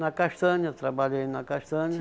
Na castanha, trabalhei na castanha.